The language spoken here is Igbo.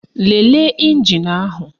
Lelee ịnjin ahụ